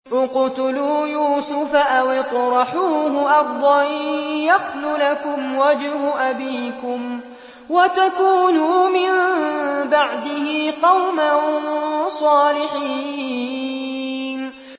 اقْتُلُوا يُوسُفَ أَوِ اطْرَحُوهُ أَرْضًا يَخْلُ لَكُمْ وَجْهُ أَبِيكُمْ وَتَكُونُوا مِن بَعْدِهِ قَوْمًا صَالِحِينَ